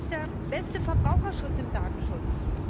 Was ist der beste Verbraucherschutz im Datenschutz?